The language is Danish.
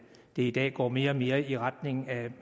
i dag går mere og mere i retning af